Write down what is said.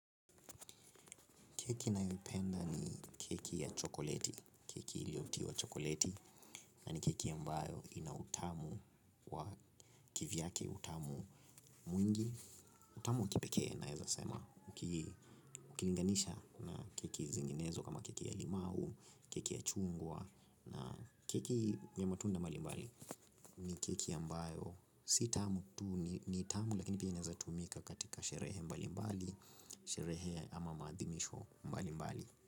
Keki nayoipenda ni keki ya chokoleti, keki iliotiwa chokoleti na ni keki ambayo ina utamu wa kivyake utamu mwingi, utamu wa kipeke naeza sema, ukilinganisha na keki zinginezo kama keki ya limau, keki ya chungwa na keki ya matunda mbali mbali ni keki ya mbayo si tamu tu ni tamu lakini pia inezatumika katika sherehe mbali mbali, sherehe ama maadhimisho mbali mbali.